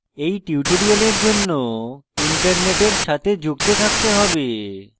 you tutorial জন্য internet সাথে যুক্ত থাকতে হবে